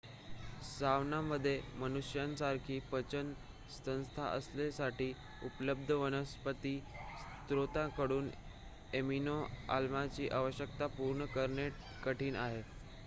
सवानामध्ये मनुष्यांसारखी पचन संस्था असलेल्यांसाठी उपलब्ध वनस्पती स्रोतांकडून एमिनो-आम्लची आवश्यकता पूर्ण करणे कठीण आहे